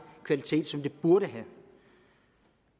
kvalitet som det burde have